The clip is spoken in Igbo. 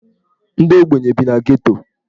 Ndị ogbenye bi na Geto.